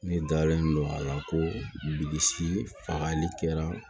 Ne dalen don a la ko bilisi fagali kɛra